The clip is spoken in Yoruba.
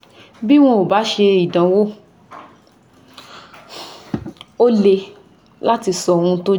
Bí wọn ò bá ṣe ìdánwò, ó le láti sọ ohun tó jẹ́